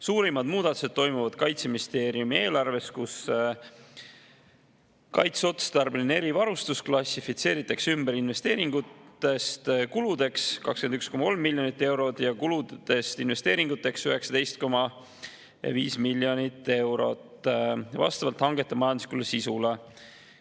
Suurimad muudatused toimuvad Kaitseministeeriumi eelarves, kus kaitseotstarbelise erivarustuse investeeringud klassifitseeritakse ümber kuludeks 21,3 miljonit eurot ja kulud investeeringuteks 19,5 miljonit eurot vastavalt hangete majanduslikule sisule.